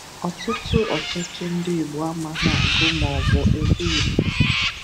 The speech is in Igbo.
ọtụtụ ọtụtụ ndị Igbo amaghị agụ maọbụ ede Igbo